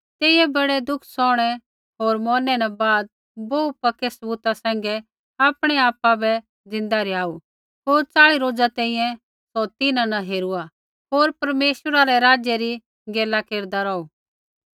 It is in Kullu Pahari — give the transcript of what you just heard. तेइयै बड़े दुःख सौहणै होर मौरनै न बाद बोहू पक्के सबूता सैंघै आपणै आपा बै ज़िन्दा रिहाऊ होर च़ाली रोजा तैंईंयैं सौ तिन्हां न हेरुआ होर परमेश्वरा रै राज्य री गैला केरदा रौहु